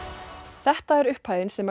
þetta er upphæðin sem